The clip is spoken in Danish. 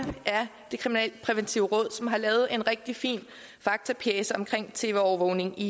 det kriminalpræventive råd som har lavet en rigtig fin faktapjece om tv overvågning i